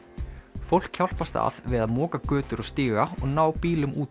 fólk hjálpast að við að moka götur og stíga og ná bílum út